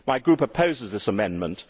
My group opposes this amendment.